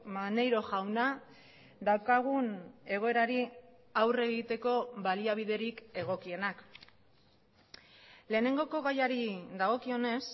maneiro jauna daukagun egoerari aurre egiteko baliabiderik egokienak lehenengoko gaiari dagokionez